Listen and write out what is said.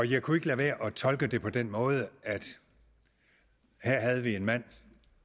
jeg kunne ikke lade være at tolke det på den måde at her havde vi en mand